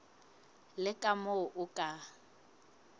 le ka moo o ka